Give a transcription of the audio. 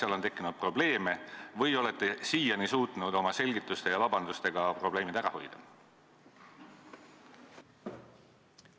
Kas on tekkinud probleeme või olete siiani suutnud oma selgituste ja vabandustega probleemid ära hoida?